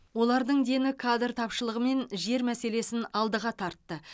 олардың дені кадр тапшылығы мен жер мәселесін алдыға тартты